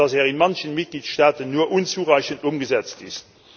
dass er in manchen Mitgliedstaaten nur unzureichend umgesetzt ist.